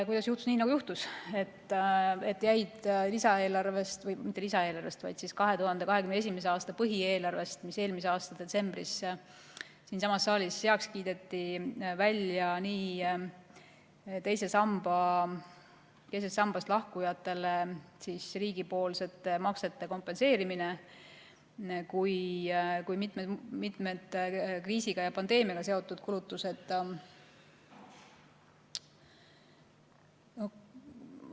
Kuidas juhtus nii, nagu juhtus, et 2021. aasta põhieelarvest, mis eelmise aasta detsembris siinsamas saalis heaks kiideti, jäid välja nii teisest sambast lahkujatele riigipoolsete maksete kompenseerimise kui ka mitu kriisi ja pandeemiaga seotud kulutust?